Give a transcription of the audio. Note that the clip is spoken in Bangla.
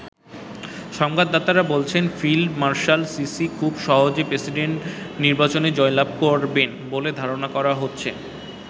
সংবাদদাতারা বলছেন, ফিল্ড মার্শাল সিসি খুব সহজেই প্রেসিডেন্ট নির্বাচনে জয়লাভ করবেন বলে ধারণা করা হচ্ছে।